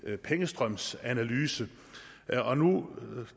pengestrømsanalyse og nu